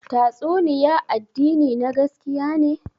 Tastunniya addini na gaskiya ne?